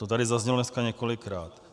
To tady zaznělo dneska několikrát.